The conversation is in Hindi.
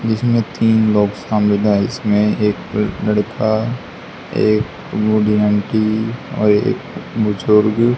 जिसमें तीन लोग शामिल है इसमें एक लड़का बूढ़ी आंटी और एक बुजुर्ग।